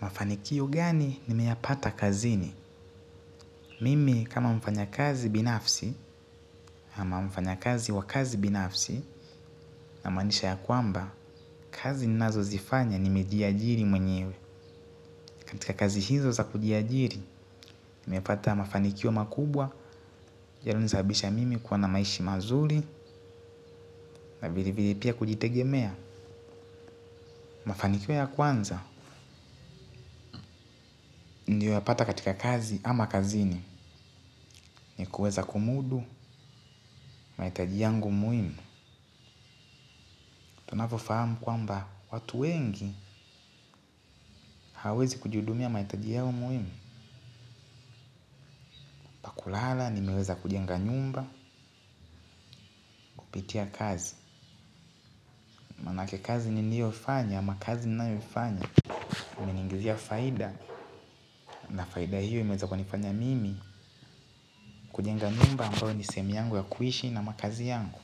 Mafanikio gani ni meyapata kazini? Mimi kama mfanya kazi binafsi ama mfanya kazi wa kazi binafsi inamaanisha ya kwamba kazi ninazo zifanya nimejiajili mwenyewe. Katika kazi hizo za kujiajili, nimepata mafanikio makubwa, ya0lo nisabisha mimi kuwa na maishi mazuri, na vile vile pia kujitegemea. Mafanikio ya kwanza, ndio unapata katika kazi ama kazini, ni kueza kumudu, maitaji yangu muhimu. Tunavyo fahamu kwamba watu wengi hawawezi kujiudumia maitaji yao muhimu. Kulala nimeweza kujenga nyumba, kupitia kazi manake kazi niliyofanya ama kazi ninayoifanya imeniingizia faida na faida hiyo imeweza kunifanya mimi kujenga nyumba ambayo ni sehemu yangu ya kuishi na makazi yangu.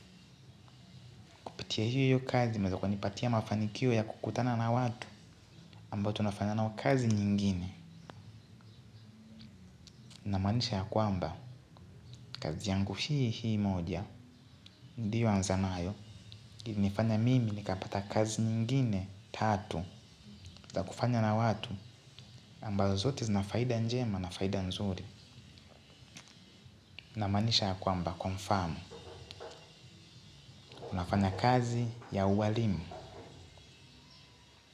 Pitia hiyo hiyo kazi imeweza kunipatia mafanikio ya kukutana na watu ambao tunafanya nao kazi nyingine na maanisha ya kwamba kazi yangu hii hii moja ndio niliyoanza nayo ilinifanya mimi nikapata kazi nyingine tatu za kufanya na watu ambayo zote zinafaida njema na faida nzuri. Namaanisha ya kwamba, kwa mfano unafanya kazi ya uwalimu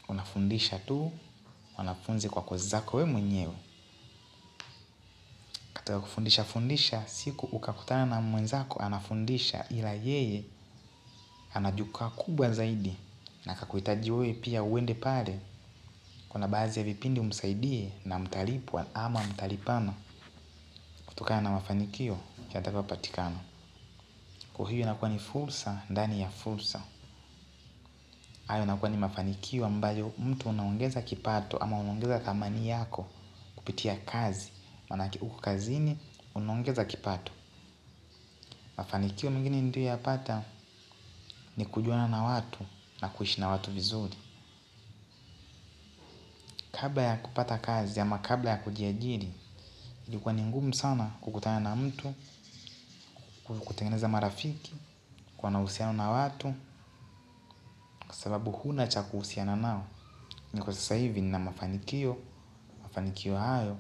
unafundisha tu, wanafunzi kwa kozi zako we mwenyewe kato wa kufundisha fundisha, siku ukakutana na mwenzako anafundisha ila yeye anajukaa kubwa zaidi na akakuitaji we pia uwende pale kuna baazi ya vipindi umsaidie na mtalipwa ama mtalipana kutokana na mafanikio yatakayo patikana. Kwa hiyo inakuwa ni fulsa ndani ya fulsa. Hayo nakuwa ni mafanikio ambayo mtu unaongeza kipato ama unaongeza thamani yako kupitia kazi manake uko kazini unaongeza kipato. Mafanikio mengine niliyo yapata ni kujuana na watu na kuishi na watu vizuri. Kabla ya kupata kazi ama kabla ya kujiajiri, ilikuwa ni ngumu sana kukutana na mtu, kutengeneza marafiki, kuwa na uhusiano na watu, kwa sababu huna cha kuhusiana nao. Na kwa sasa hivi nina mafanikio, mafanikio hayo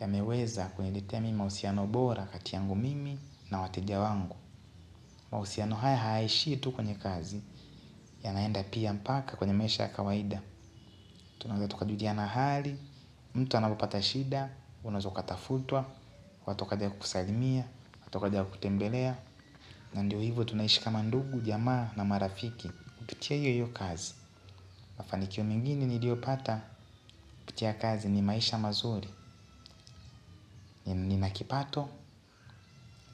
yameweza kuniletea mimii mausiano bora kati yangu mimi na wateja wangu. Mausiano haya hayaishii tu kwenye kazi yanaenda pia mpaka kwenye maisha ya kawaida. Tunaeza tuka juliana hali, mtu anapopata shida, unaeza ukatafutwa, watokaja kukusalimia, watokaja kutembelea. Na ndio hivo tunaishi kama ndugu, jamaa na marafiki, kututia yoyo kazi. Mafanikio mengini niliopata kupitia kazi ni maisha mazuri. Na kipato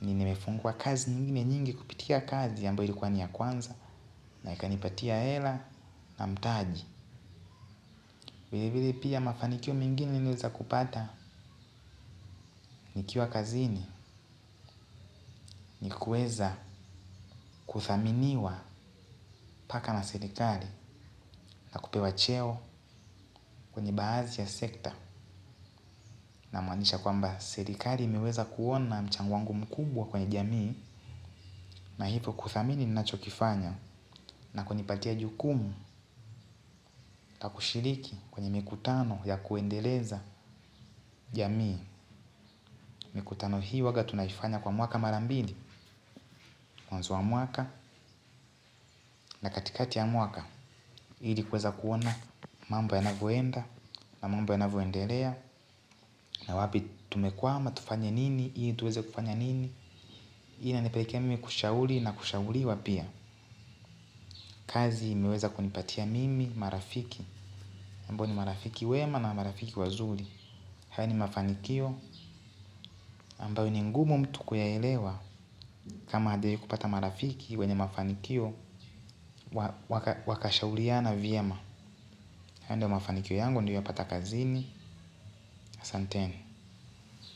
ni nimefungwa kazi nyingine nyingi kupitia kazi ambayo ilikuwa ni ya kwanza. Na ikanipatia ela na mtaji. Vile vile pia mafanikio mengine niliweza kupata nikiwa kazini ni kuweza kuthaminiwa mpaka na serekali na kupewa cheo kwenye baazi ya sekta namaanisha kwamba serikali imeweza kuona mchango wangu mkubwa kwenye jamii na hipo kuthamini ninacho kifanya na kunipatia jukumu na kushiriki kwenye mikutano ya kuendeleza jamii mikutano hii uwaga tunaifanya kwa mwaka mara mbili mwanzo wa mwaka na katikati ya mwaka hili kweza kuona mambo yanavoenda na mambo yanavoendelea na wapi tumekwama, tufanye nini, hii tuweze kufanya nini. Hii inanipelekea mimi kushauli na kushauliwa pia. Kazi imeweza kunipatia mimi, marafiki ambao ni marafiki wema na marafiki wazuri. Haya ni mafanikio ambayo ni ngumu mtu kuyaelewa. Kama hajai kupata marafiki wenye mafanikio wakashauliana vyema. Haya ndio mafanikio yangu nilio yapata kazini asanteni.